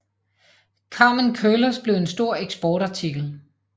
Carmen Curlers blev en stor eksportartikel